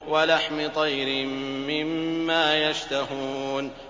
وَلَحْمِ طَيْرٍ مِّمَّا يَشْتَهُونَ